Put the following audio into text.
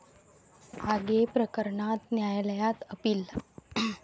आगे प्रकरणात न्यायालयात अपील